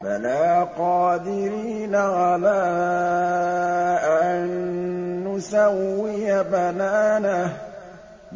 بَلَىٰ قَادِرِينَ عَلَىٰ أَن نُّسَوِّيَ بَنَانَهُ